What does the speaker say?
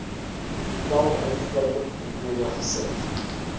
stel uitsluitingskriteria gesif